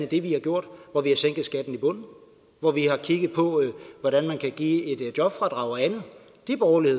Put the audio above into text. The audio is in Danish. det vi har gjort hvor vi har sænket skatten i bunden og hvor vi har kigget på hvordan man kan give et jobfradrag og andet det er borgerlig